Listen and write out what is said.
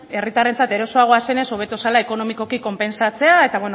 herritarrentzat erosoagoa zenez hobeko zela ekonomikoki konpentsatzea eta